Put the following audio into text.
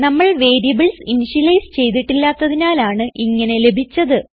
നമ്മൾ variables initialise ചെയ്തിട്ടില്ലാത്തതിനാലാണ് ഇങ്ങനെ ലഭിച്ചത്